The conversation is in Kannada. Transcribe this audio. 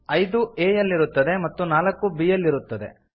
ಐದು a ಯಲ್ಲಿರುತ್ತದೆ ಮತ್ತು ನಾಲ್ಕು b ಯಲ್ಲಿ ಇರುತ್ತದೆ